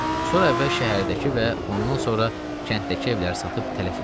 Sonra əvvəl şəhərdəki və ondan sonra kənddəki evləri satıb tələf etdi.